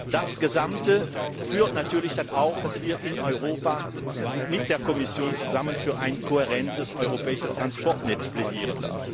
Das Gesamte führt natürlich dann auch dazu, dass wir in Europa mit der Kommission zusammen für ein kohärentes europäisches Verkehrsnetz plädieren.